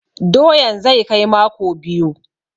Doyan zai kai mako biyu.